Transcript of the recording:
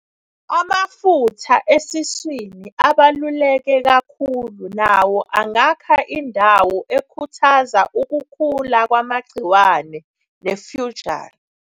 Amafutha asesiswini abaluleke kakhulu nawo angakha indawo ekhuthaza ukukhula kwamagciwane nefungal.